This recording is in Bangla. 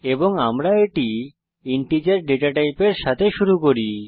এবং আমরা এটি ইন্টিজার ডেটা টাইপের সাথে শুরু করছি